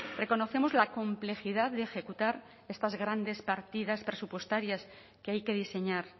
reconocemos la complejidad de ejecutar estas grandes partidas presupuestarias que hay que diseñar